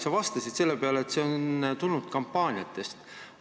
Sa vastasid selle peale, et seda on väidetud kampaaniate ajal.